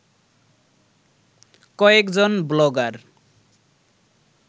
কয়েকজন ব্লগার